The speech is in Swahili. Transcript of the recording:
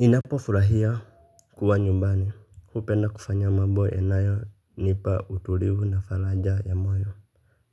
Ninapofurahia kuwa nyumbani. Hupenda kufanya mambo yanayonipa utulivu na faraja ya moyo